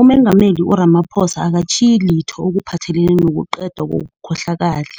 uMengameli u-Ramaphosa akatjhiyi litho okuphathelene nokuqedwa kobukhohlakali.